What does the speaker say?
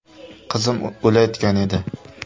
Qizim o‘layotgan edi.